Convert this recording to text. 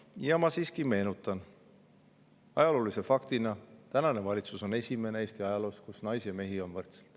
Ja ma siiski meenutan ajaloolist fakti, et tänane valitsus on Eesti ajaloos esimene, kus naisi ja mehi on võrdselt.